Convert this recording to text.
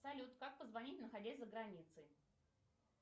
салют как позвонить находясь за границей